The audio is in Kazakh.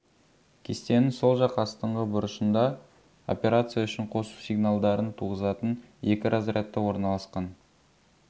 кестенің сол жақ астыңғы бұрышында операция үшін қосу сигналдарын туғызатын екі разрядты орналасқан